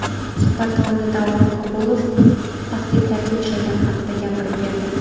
Suhbat davomida Davron Qobulov tahdidlarga uchragani haqida gapirib berdi.